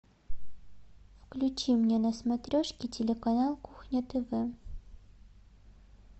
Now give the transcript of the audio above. включи мне на смотрешке телеканал кухня тв